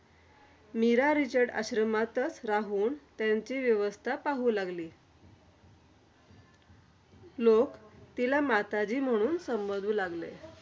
corona मित्रांनो तुम्हाला त माहितीच असेल कोरोना हा रोग जगात